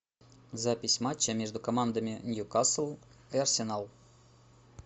запись матча между командами ньюкасл и арсенал